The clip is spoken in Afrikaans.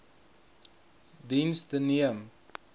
diens the neem